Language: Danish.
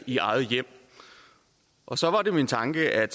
i eget hjem og så var det min tanke at